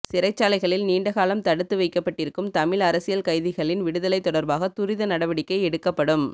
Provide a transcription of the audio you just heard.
சிறைச்சாலைகளில் நீண்டகாலம் தடுத்து வைக்கப்பட்டிருக்கும் தமிழ் அரசியல் கைதிகளின் விடுதலை தொடர்பாக துரித நடவடிக்கை எடுக்கப்படும்